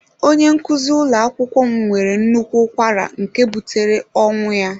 Onye nkuzi ụlọ akwụkwọ m nwere nnukwu ụkwara nke butere ọnwụ ya.